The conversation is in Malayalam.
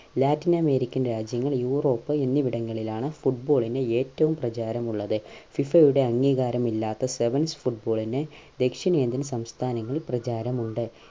ലാറ്റിൻ അമേരിക്കൻ രാജ്യങ്ങൾ യൂറോപ്പ് എന്നിവിടങ്ങളിലാണ് football ന് ഏറ്റവും പ്രചാരം ഉള്ളത് FIFA ടെ അംഗീകാരം ഇല്ലാത്ത sevens football ന് ദക്ഷിണേന്ത്യൻ സംസ്ഥാനങ്ങളിൽ പ്രചാരമുണ്ട്